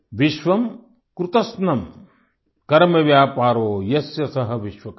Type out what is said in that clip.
विश्वस्य कृते यस्य कर्मव्यापारः सः विश्वकर्मा